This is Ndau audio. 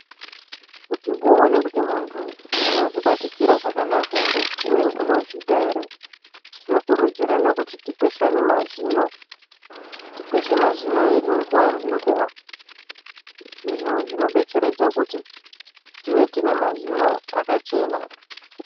Kuti uwonekuti muntu unozvibatikira zvakanaka here ,uye unozvida here. Tinokurudzirana kuti tikweshane mazino, tikweshe mazino edu nguva nenguva izvo zvinobetseredza kuti tive tinemazino akachena.